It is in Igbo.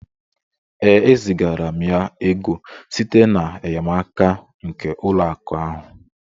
Ee, e zigara m ya ego site n'enyemaka nke ụlọ akụ ahụ